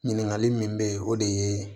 Ɲininkali min bɛ yen o de ye